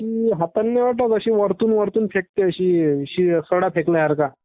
हातानी नाही होत अशे वरतून वरतून फेकते असा सडा फेकल्या सारखा.